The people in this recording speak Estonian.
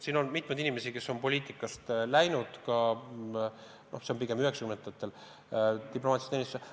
Ja on mitmeid teisigi inimesi poliitikast diplomaatilisse teenistusse läinud, see oli pigem 1990. aastatel.